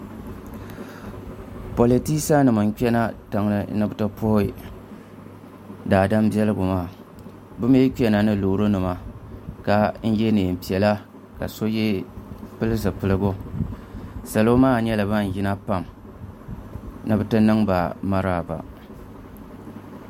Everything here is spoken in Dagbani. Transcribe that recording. politɛsa nim kpɛna riŋ ni bɛ ti puhi daadama bɛligu maa be mi kpɛna ni lori nima ka yɛ nɛnpiɛlla ka so pɛlizupiligu salo maa nyɛla ban yina pam ni be nɛba mariba